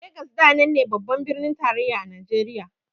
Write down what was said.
Legas da nan ne babban birnin tarayyar Najeriya.